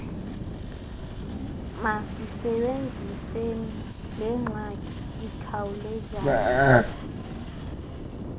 masisebenziseni lengxaki ikhawulezayo